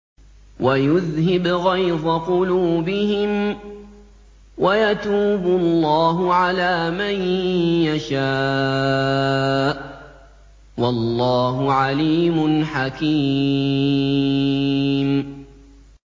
وَيُذْهِبْ غَيْظَ قُلُوبِهِمْ ۗ وَيَتُوبُ اللَّهُ عَلَىٰ مَن يَشَاءُ ۗ وَاللَّهُ عَلِيمٌ حَكِيمٌ